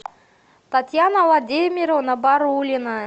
татьяна владимировна барулина